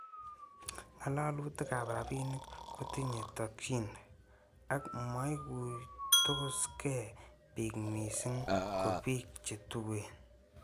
Ngalalutik ab rabinik kotinye tokyin ak komoikuitos gee bik missing ko bik che tuen.